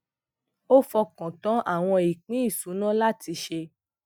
mo fọkàn tán àwọn ìpín ìṣúná láti ṣe